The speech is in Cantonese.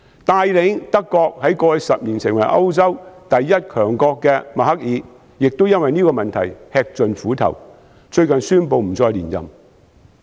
帶領德國在過去10年成為歐洲第一強國的默克爾亦因為這個問題吃盡苦頭，最近宣布不再連任。